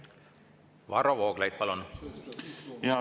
Varro Vooglaid, palun!